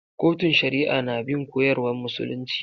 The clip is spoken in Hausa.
Kotun shari'a na bin koyarwan musulunci.